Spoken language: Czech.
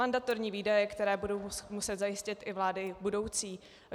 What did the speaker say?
Mandatorní výdaje, které budou muset zajistit i vlády budoucí.